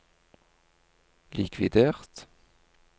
likvidert